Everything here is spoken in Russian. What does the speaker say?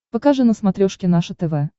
покажи на смотрешке наше тв